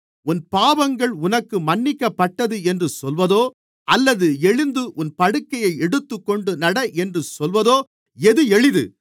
உன் பாவங்கள் உனக்கு மன்னிக்கப்பட்டது என்று சொல்வதோ அல்லது எழுந்து உன் படுக்கையை எடுத்துக்கொண்டு நட என்று சொல்வதோ எது எளிது